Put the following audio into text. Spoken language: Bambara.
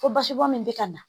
Fo basibɔn min bɛ ka na